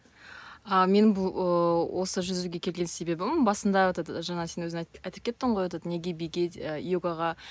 а мен бұл ыыы осы жүзуге келген себебім басында этот жаңа сен өзің айтып кеттің ғой этот неге биге ы йогаға